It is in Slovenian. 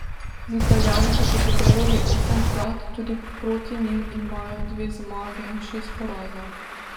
Z Italijani so se pomerili osemkrat, tudi proti njim imajo dve zmagi in šest porazov.